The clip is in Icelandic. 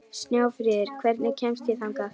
Snjáfríður, hvernig kemst ég þangað?